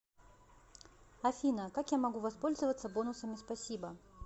афина как я могу воспользоваться бонусами спасибо